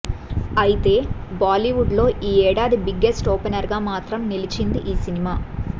అయితే బాలీవుడ్ లో ఈ ఏడాది బిగ్గెస్ట్ ఓపెనర్ గా మాత్రం నిలిచింది ఈ సినిమా